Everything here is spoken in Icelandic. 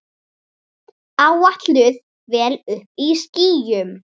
Áætluð vél uppí skýjum.